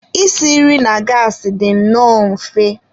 Isi nri na gassi dị nnọọ mfe.